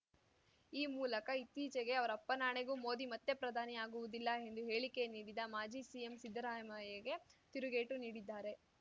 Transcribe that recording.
ಈ ಮೂಲಕ ಇತ್ತೀಚೆಗೆ ಅವರಪ್ಪನಾಣೆಗೂ ಮೋದಿ ಮತ್ತೆ ಪ್ರಧಾನಿ ಆಗುವುದಿಲ್ಲ ಎಂದು ಹೇಳಿಕೆ ನೀಡಿದ ಮಾಜಿ ಸಿಎಂ ಸಿದ್ದರಾಮಯ್ಯಗೆ ತಿರುಗೇಟು ನೀಡಿದ್ದಾರೆ